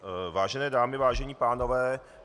Vážené dámy, vážení pánové.